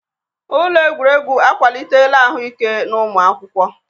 Ụlọ egwuregwu akwalitela ahụike n'ụmụ akwụkwọ.